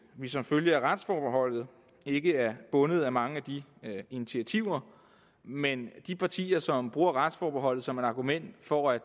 vi som følge af retsforbeholdet ikke er bundet af mange af de initiativer men de partier som bruger retsforbeholdet som argument for at